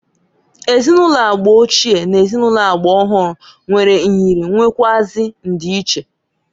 Ezinụlọ agba ochie n' ezinụlọ agba ọhụrụ nwere nyịrị nwekwụazi ndiiche.